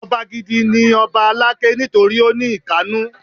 Ọba gidi ni lọba Aláké nítorí ó ní ìkannú.